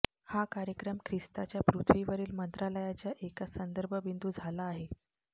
हा कार्यक्रम ख्रिस्ताच्या पृथ्वीवरील मंत्रालयाच्या एका संदर्भ बिंदू झाला आहे